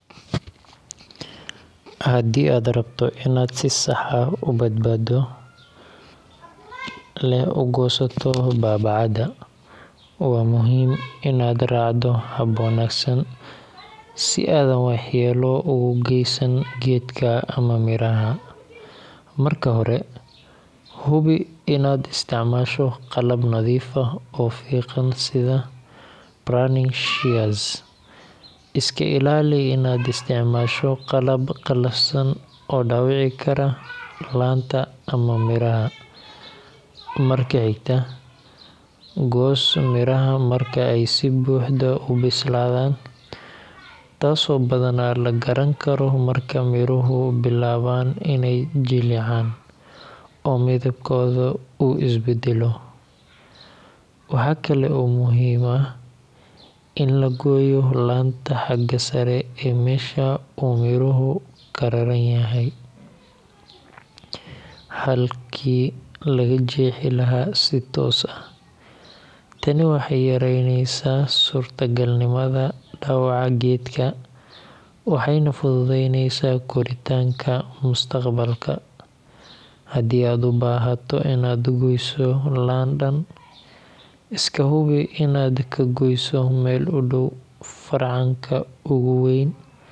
Haddii aad rabto inaad si sax ah oo badbaado leh u goosato baabacada, waa muhiim inaad raacdo hab wanaagsan si aadan waxyeelo ugu geysan geedka ama midhaha. Marka hore, hubi in aad isticmaasho qalab nadiif ah oo fiiqan sida pruning shears. Iska ilaali inaad isticmaasho qalab qallafsan oo dhaawici kara laanta ama midhaha. Marka xigta, goos midhaha marka ay si buuxda u bislaadaan, taas oo badanaa la garan karo marka midhuhu bilaabaan inay jilcaan oo midabkooda uu isbeddelo. Waxa kale oo muhiim ah in la gooyo laanta xagga sare ee meesha uu midhuhu ka raran yahay, halkii laga jeexi lahaa si toos ah. Tani waxay yareynaysaa suurtagalnimada dhaawaca geedka waxayna fududeyneysaa koritaanka mustaqbalka. Haddii aad u baahato inaad goyso laan dhan, iska hubi inaad ka goyso meel u dhow farcanka ugu weyn